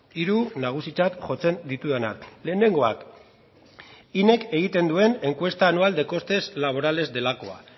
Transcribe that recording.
hiru nagusitzat jotzen ditudanak lehenengoa inek egiten duen encuesta anual de coste laborales delakoa